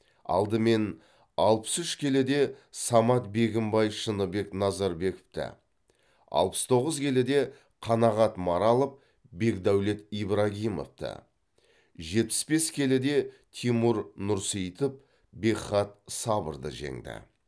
алдымен алпыс үш келіде самат бегімбай шыныбек назарбековті алпыс тоғыз келіде қанағат маралов бекдәулет ибрагимовті жетпіс бес келіде тимур нұрсейітов бекхат сабырды жеңді